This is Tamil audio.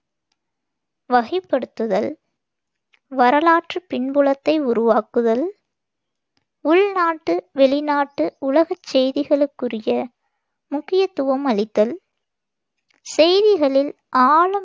வகைப்படுத்துதல், வரலாற்றுப் பின்புலத்தை உருவாக்குதல், உள்நாட்டு, வெளிநாட்டு உலகச் செய்திகளுக்குரிய முக்கியத்துவம் அளித்தல் , செய்திகளில் ஆழம்